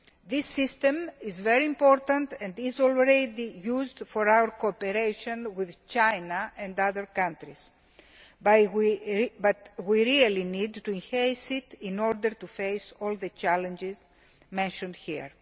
That system is very important and is already used in our cooperation with China and other countries, but we really need to enhance it in order to face all the challenges mentioned here.